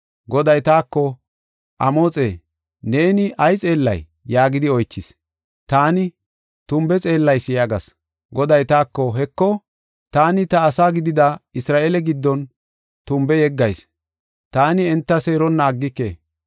Goday taako, “Amoxe, neeni ay xeellay?” yaagidi oychis. Taani, “Tumbe xeellayis” yaagas. Goday taako, “Heko, taani ta ase gidida Isra7eele giddon tumbe yeggayis; taani enta seeronna aggike.